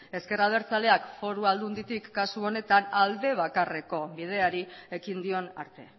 ezker abertzaleak foru aldunditik kasu honetan alde bakarreko bideari ekin dion arte